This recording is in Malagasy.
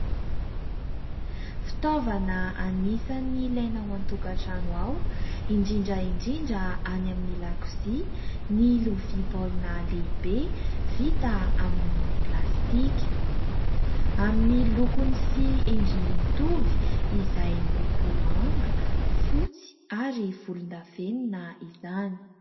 Fitaovana anisan'ny ilaina ao an_tokantrano ao indrindra indrindra any an_dakozia ny lovia baolina lehibe vita amin'ny plastika. Amin'ny lokony sy endriny mitovy izay miloko manga, fotsy ary volondavenina izany.